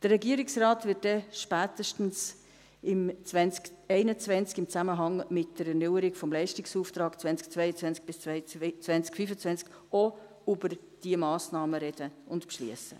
Der Regierungsrat wird dann spätestens im Jahr 2021 im Zusammenhang mit der Erneuerung des Leistungsauftrags 2022–2025 auch über diese Massnahmen reden und beschliessen.